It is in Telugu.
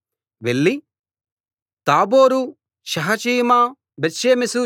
వెళ్లి తాబోరు షహచీమా బేత్షెమెషు